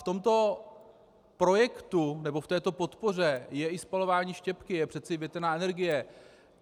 V tomto projektu nebo v této podpoře je i spalování štěpky, je přece větrná energie.